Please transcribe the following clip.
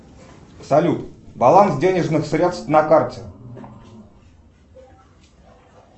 салют баланс денежных средств на карте